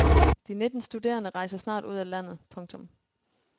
De nitten studerende rejser snart ud af landet. punktum